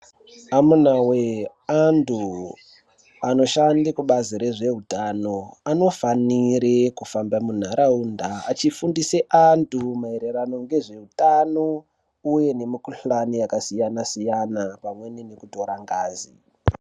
Amunawe antu anoshanda kubazi rezve utano anofanire kufamba munharaunda achifundisa antu maraererano ngezve utano uyenemukuhlani yakasiyana siyana pamweni nekutorangazi.